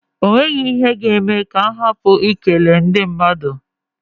E nweghi ihe ga-eme m ka m hapụ I kele ndị madụ.